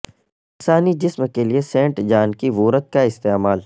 انسانی جسم کے لئے سینٹ جان کی وورت کا استعمال